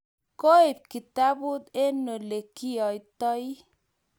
koib kitabut eng' ole kiotoi